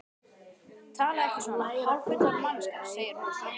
Talaðu ekki svona, hálffullorðin manneskjan, segir hún.